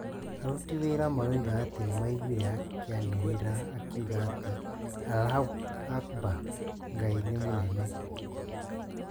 Aruti wĩira maroiga atĩ nĩmaiguire akianĩrĩra akiuga ati "Allahu Akbar" (Ngai nĩ mũnene)